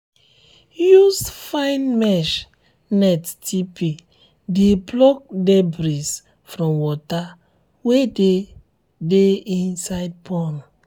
use fine mesh net tp de block debris from water wey de de inside pond